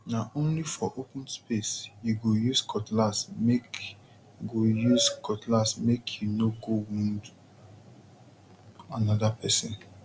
na only for open space you go use cutlassmake go use cutlassmake you no go wound another person